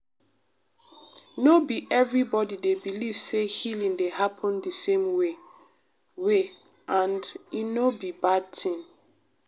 no be everybody dey believe say healing dey happen de same way way and e no be bad tin.